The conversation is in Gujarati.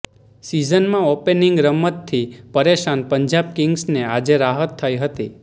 સિઝનમાં ઓપનીંગ રમતથી પરેશાન પંજાબ કિંગ્સને આજે રાહત થઈ હતી